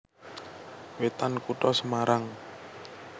Wetan Kutha Semarang